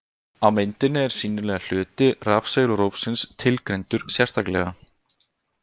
Á myndinni er sýnilegi hluti rafsegulrófsins tilgreindur sérstaklega.